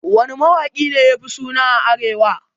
Wanne mawaki ne yafi suna a arewa?